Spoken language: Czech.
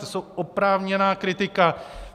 To je oprávněná kritika.